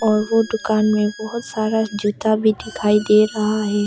और ओ दुकान मे बहोत सारा जूता भी दिखाई दे रहा है।